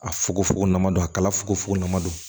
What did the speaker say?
A fukofogon don a kala fogofogo na